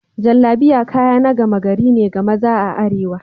Jallabiya kaya na gama gari ne ga maza a arewa.